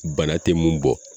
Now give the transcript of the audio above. Bana te mun bɔ